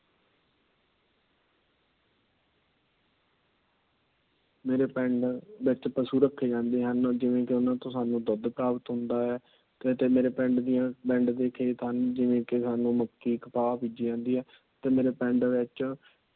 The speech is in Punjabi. ਮੇਰੇ ਪਿੰਡ ਵਿੱਚ ਪਸ਼ੂ ਰਾਖੇ ਜਾਂਦੇ ਹਨ। ਜਿਵੇ ਕਿ ਉਹਨਾਂ ਤੋਂ ਸਾਂਨੂੰ ਦੁੱਧ ਪ੍ਰਾਪਤ ਹੁੰਦਾ ਹੈ। ਮੇਰੇ ਪਿੰਡ ਦੀਆਂ, ਮੇਰੇ ਪਿੰਡ ਦੇ ਖੇਤ ਹਨ ਵਿੱਚ ਮੱਕੀ। ਕਪਾਹ ਬੀਜੀ ਜਾਂਦੀ ਹੈ।